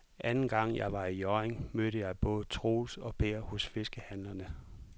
Anden gang jeg var i Hjørring, mødte jeg både Troels og Per hos fiskehandlerne.